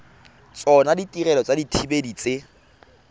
tsona ditirelo tsa dithibedi tse